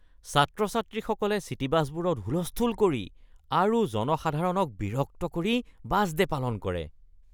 ছাত্ৰ-ছাত্ৰীসকলে চিটী বাছবোৰত হুলস্থূল কৰি আৰু জনসাধাৰণক বিৰক্ত কৰি বাছ ডে' পালন কৰে।